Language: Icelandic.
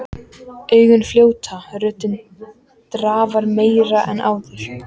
Augun fljóta, röddin drafar meira en áður.